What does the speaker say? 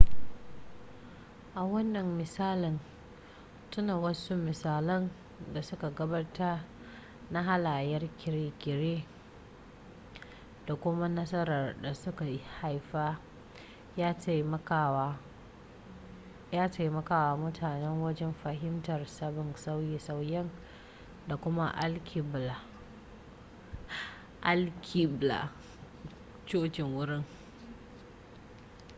a wannan misalin tuna wasu misalan da suka gabata na halayyar kirkire-kirkire da kuma nasarar da suka haifar ya taimakawa mutane wajen fahimtar sabbin sauye-sauyen da kuma alkiblar cocin wurin